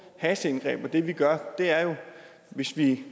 hasteindgreb og det vi gør er jo hvis vi